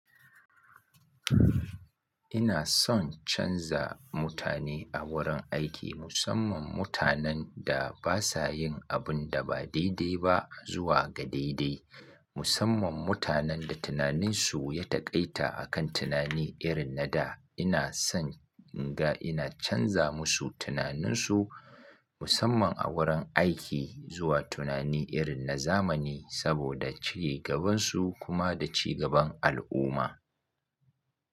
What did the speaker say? Ina son canza mutane a wurin aiki, musamman mutanen da ba sa yin abun da ba daidai ba zuwa ga daidai. Musamman mutanen da tunaninsu ya taƙaita a kan tunani irin na da. Ina son in ga ina canza musu tunaninsu, musamman a wurin aiki zuwa tunani irin na zamani saboda cigabansu kuma da cigaban al'umma.